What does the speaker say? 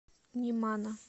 немана